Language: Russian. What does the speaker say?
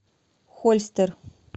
хольстер